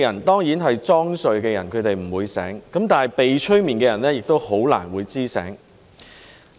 當然裝睡的人不會醒，但被催眠的人亦很難會懂得醒過來。